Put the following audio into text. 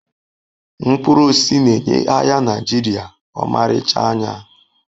Mkpụrụ osisi na-enye ahịa Naijiria ọmarịcha anya